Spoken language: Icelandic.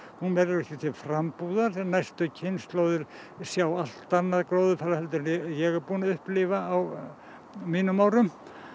hún verður ekki til frambúðar næstu kynslóðir sjá allt annað gróðurfar en ég hef upplifað á mínum árum